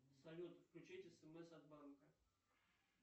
салют включить смс от банка